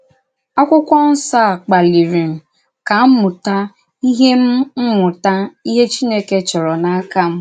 Àkwụ́kwọ̀ Nsọ a kpalìrì m ka m mùtà íhè m mùtà íhè Chìnèkè chòrọ̀ n’áka m.